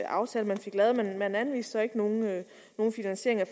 aftale man fik lavet men man anviste så ikke nogen finansiering af